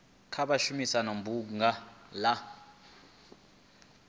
kha vha shumise bunga la